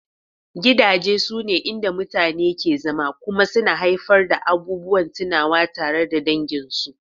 Gidaje sune inda mutane ke zama kuma suna haifar da abubuwan tunawa tare da danginsu